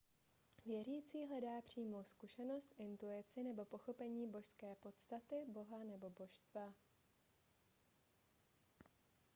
věřící hledá přímou zkušenost intuici nebo pochopení božské podstaty boha nebo božstva